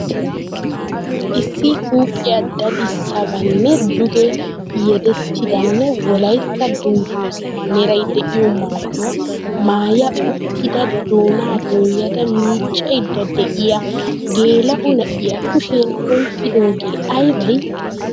Issi huuphphiya dadissabeenna duge yeddavuttidanne wolaytta dungguzaa meray de'iyo maayuwa maaya uttida doonaa doyada miiccaydda de'iya geela'o na'iya kushiyan oyqqidoogee aybay?